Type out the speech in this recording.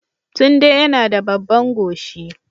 Tunde yana da babban goshi